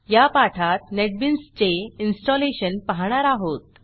या पाठात नेटबीन्सचे इन्स्टॉलेशन पाहणार आहोत